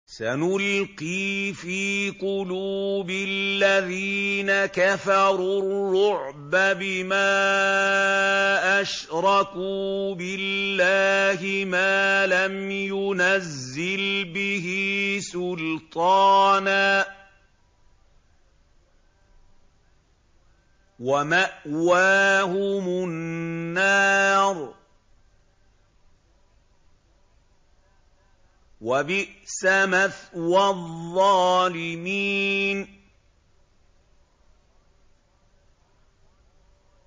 سَنُلْقِي فِي قُلُوبِ الَّذِينَ كَفَرُوا الرُّعْبَ بِمَا أَشْرَكُوا بِاللَّهِ مَا لَمْ يُنَزِّلْ بِهِ سُلْطَانًا ۖ وَمَأْوَاهُمُ النَّارُ ۚ وَبِئْسَ مَثْوَى الظَّالِمِينَ